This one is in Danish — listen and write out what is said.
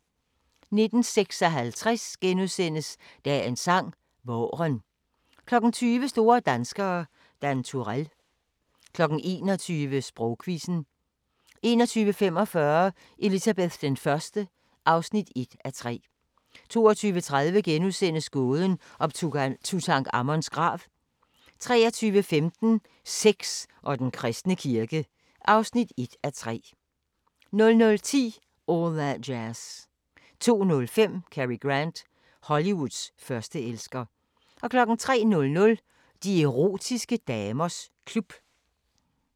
19:56: Dagens sang: Vaaren * 20:00: Store danskere – Dan Turell 21:00: Sprogquizzen 21:45: Elizabeth I (1:3) 22:30: Gåden om Tutankhamons grav * 23:15: Sex og den kristne kirke (1:3) 00:10: All That Jazz 02:05: Cary Grant – Hollywoods førsteelsker 03:00: De erotiske damers klub